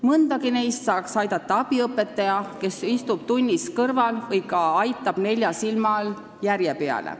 Mõndagi neist saaks aidata abiõpetaja, kes istub tunnis kõrval või aitab nelja silma all järje peale.